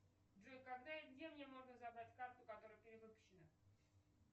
джой когда и где мне можно забрать карту которая перевыпущена